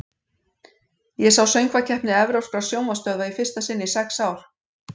Ég sá Söngvakeppni evrópskra sjónvarpsstöðva í fyrsta sinn í sex ár.